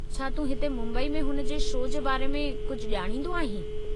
छा तूं हिते मुंबई में हुन जे शो जे बारे में कुझु ॼाणींदो आहीं?